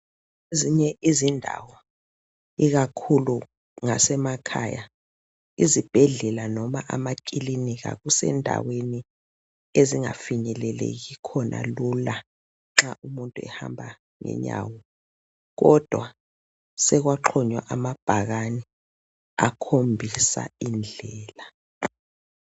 Ezinye izindawo ikakhulu ngasemakhaya izibhedlela noma amakilinika kusendaweni ezingafinyeleleki khona lula nxa umuntu ehamba ngenyawo kodwa sekwaxhunywa amabhakani akhombisa indlela.